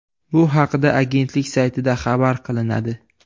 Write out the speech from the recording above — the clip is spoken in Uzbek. Bu haqda agentlik saytida xabar qilinadi .